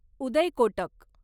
Uday Kotak